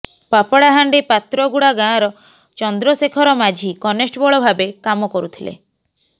ପାପଡାହାଣ୍ଡି ପାତ୍ରଗୁଡା ଗାଁର ଚନ୍ଦ୍ର ଶେଖର ମାଝୀ କନେଷ୍ଟବଳ ଭାବେ କାମ କରୁଥିଲେ